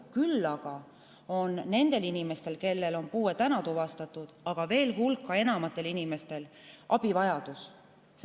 Küll aga on nendel inimestel, kellel on puue tuvastatud, ja veel suurel hulgal inimestel abivajadus.